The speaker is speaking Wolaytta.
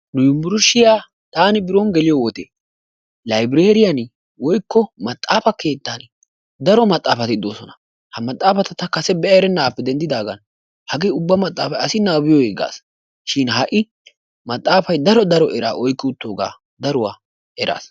Nu yunburushiyaa tani biron geliyoode maxaafa keettaan woykko laybereriyaan daro maxaafati de"oosona. Ha maxaafati ta kase be'a erenaagape dendidaagan hagee ubba maxaafay asi nababiyoogee gasi shin ha'i maxaafay daro daro eraa oyqqi uttoogaa ha'i eraas.